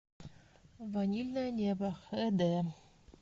ванильное небо хд